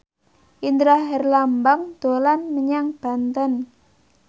Indra Herlambang dolan menyang Banten